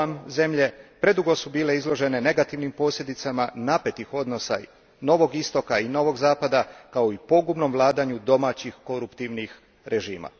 zemlje GUAM a predugo su bile izložene negativnim posljedicama napetih odnosa novog Istoka i novog Zapada, kao i pogubnom vladanju domaćih koruptivnih režima.